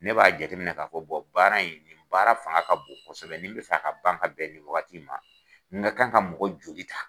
Ne b'a jate minɛ k'a fɔ baara in nin baara fanga ka bon kosɛbɛ ni n bɛ fɛ ka ban ka bɛn nin wagati in ma n ka kan ka mɔgɔ joli ta.